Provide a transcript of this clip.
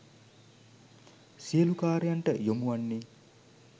සියලු කාර්යයන්ට යොමු වන්නේ.